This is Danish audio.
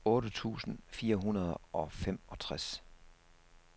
otte tusind fire hundrede og femogtres